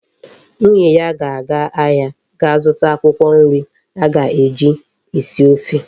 Nwunye ya ga aga ahia ga zuta akwukwo nri aga eji esi ofe